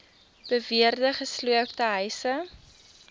beweerde gesloopte huise